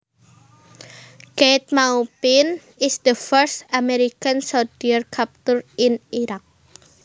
Keith Maupin is the first American soldier captured in Iraq